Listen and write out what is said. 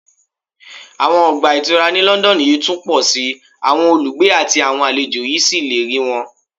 Àwọn ọgbà ìtura ní London yóò tún pọ̀ sí i, àwọn olùgbé àti àwọn àlejò yóò sì lè rí wọn